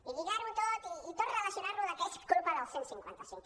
i lligar ho tot i tot relacionar ho que és culpa del cent i cinquanta cinc